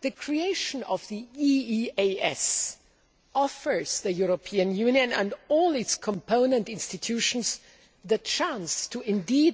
The creation of the EEAS offers the European Union and all its component institutions the chance to